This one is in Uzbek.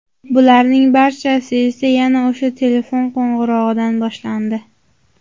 Bularning barchasi esa yana o‘sha telefon qo‘ng‘irog‘idan boshlandi.